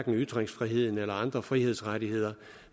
ytringsfriheden eller andre frihedsrettigheder